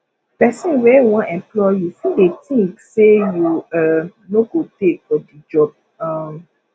person wey wan employ you fit dey think sey you um no go tey for di job um